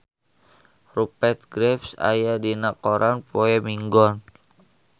Rupert Graves aya dina koran poe Minggon